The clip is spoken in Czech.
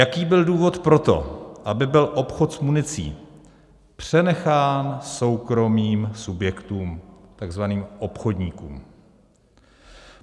Jaký byl důvod pro to, aby byl obchod s municí přenechán soukromým subjektům, takzvaným obchodníkům?